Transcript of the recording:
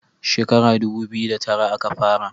Shekara dubu biyu da tara a ka fara